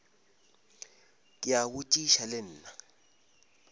ke a botšiša le nna